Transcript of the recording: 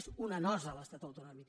és una nosa l’estat autonòmic